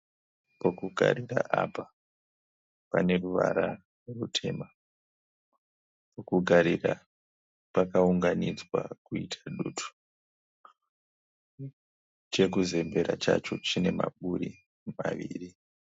Pokugarira apa pane ruvara rutema. Pokugarira pakaunganidzwa kuita dutu. Chekuzembera chacho chine maburi maviri.